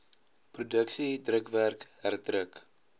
produksie drukwerk herdruk